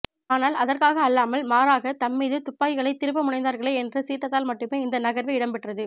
ஆனால் அதற்காக அல்லாமல் மாறாக தம் மீது துப்பாக்கிகளை திருப்பமுனைந்தார்களே என்ற சீற்றத்தால் மட்டும் இந்த நகர்வு இடம்பெற்றது